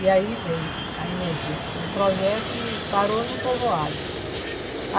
E aí veio a energia do projeto e parou no povoado.